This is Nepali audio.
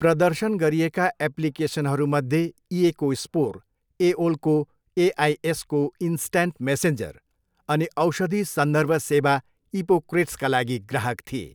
प्रदर्शन गरिएका एप्लिकेसनहरूमध्ये इएको स्पोर, एओलको एआइएसको इन्स्ट्यान्ट मेसेन्जर, अनि औषधि सन्दर्भ सेवा इपोक्रेट्सका लागि ग्राहक थिए।